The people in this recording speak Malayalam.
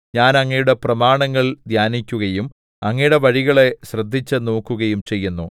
ഞാൻ അങ്ങയുടെ പ്രമാണങ്ങൾ ധ്യാനിക്കുകയും അങ്ങയുടെ വഴികളെ ശ്രദ്ധിച്ചുനോക്കുകയും ചെയ്യുന്നു